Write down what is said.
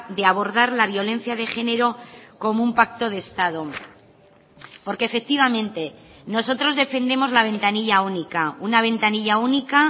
de abordar la violencia de género como un pacto de estado porque efectivamente nosotros defendemos la ventanilla única una ventanilla única